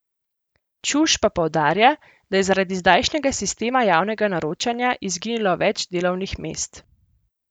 Čuš pa poudarja, da je zaradi zdajšnjega sistema javnega naročanja izginilo več delovnih mest.